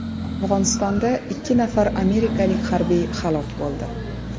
Afg‘onistonda ikki nafar amerikalik harbiy halok bo‘ldi.